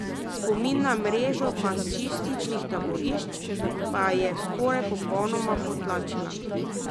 Spomin na mrežo fašističnih taborišč pa je skoraj popolnoma potlačila.